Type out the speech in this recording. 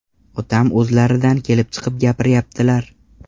Otam o‘zlaridan kelib chiqib gapiryaptilar.